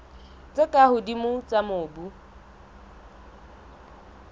tse ka hodimo tsa mobu